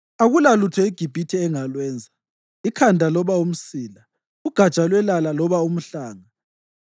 Akulalutho iGibhithe engalwenza, ikhanda loba umsila, ugatsha lwelala loba umhlanga.